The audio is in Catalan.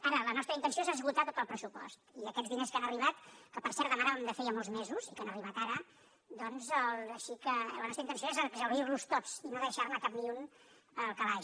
ara la nostra intenció és esgotar tot el pressupost i aquests diners que han arribat que per cert demanàvem de feia molts mesos i que han arribat ara doncs sí que la nostra intenció és exhaurir los tots i no deixar ne cap ni un al calaix